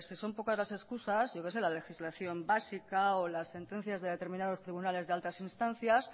pues si son pocas las excusas yo que sé la legislación básica o las sentencias de determinados tribunales de altas instancias